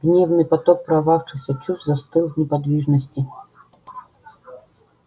гневный поток прорвавшихся чувств застыл в неподвижности